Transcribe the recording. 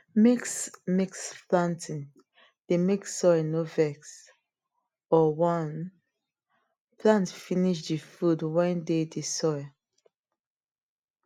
mixmix planting dey make soil nor vex or one plant finish the food went dey the soil